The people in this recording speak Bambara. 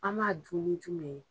An b'a dun ni jumɛn ye.